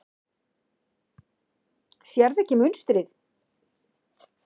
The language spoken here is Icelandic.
Sérðu ekki munstrið?